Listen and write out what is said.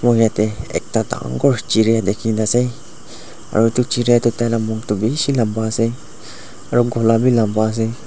moi yate ekta dangor chiriya dekhina ase aro itu chiriya toh tai ka mukh toh bishi lamba ase aro gola bi lamba ase.